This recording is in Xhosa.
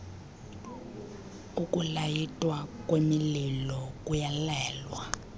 ukulayitwa kwemililo kuyalelwa